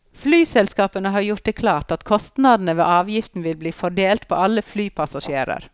Flyselskapene har gjort det klart at kostnadene ved avgiften vil bli fordelt på alle flypassasjerer.